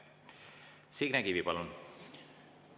Signe Kivi, palun!